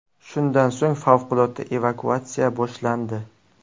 Shundan so‘ng favqulodda evakuatsiya boshlandi.